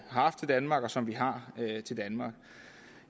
haft til danmark og som vi har til danmark